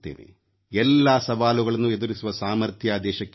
ಎಲ್ಲಾ ಸವಾಲುಗಳನ್ನು ಎದುರಿಸುವ ಸಾಮರ್ಥ್ಯ ದೇಶಕ್ಕೆ ಬರಲಿ